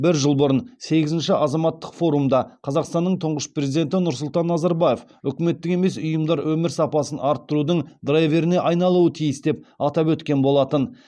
бір жыл бұрын сегізінші азаматтық форумда қазақстанның тұңғыш президенті нұрсұлтан назарбаев үкіметтік емес ұйымдар өмір сапасын арттырудың драйверіне айналуы тиіс деп атап өткен болатын